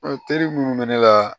teri minnu bɛ ne la